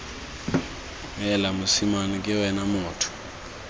heela mosimane ke wena motho